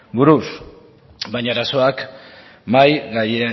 buruz baina arazoak mahai